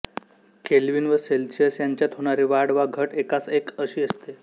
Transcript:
kelvin व Celsius यांच्यात होणारी वाढ वा घट एकास एक अशी असते